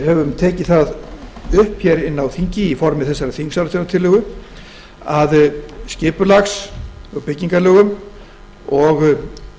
höfum tekið það upp á þingi í formi þessarar þingsályktunartillögu að skipulags og byggingarlögum og